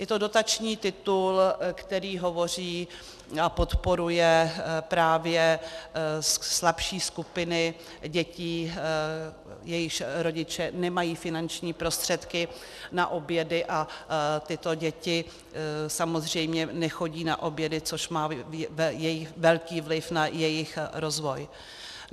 Je to dotační titul, který hovoří a podporuje právě slabší skupiny dětí, jejichž rodiče nemají finanční prostředky na obědy, a tyto děti samozřejmě nechodí na obědy, což má velký vliv na jejich rozvoj.